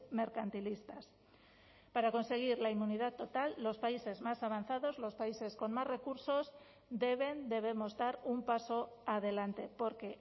mercantilistas para conseguir la inmunidad total los países más avanzados los países con más recursos deben debemos dar un paso adelante porque